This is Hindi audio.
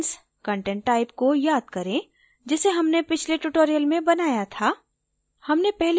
events content type को याद करें जिसे हमने पिछले tutorial में बनाया था